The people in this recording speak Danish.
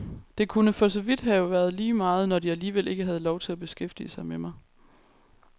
Det kunne for så vidt være lige meget, når de alligevel ikke havde lov til at beskæftige sig med mig.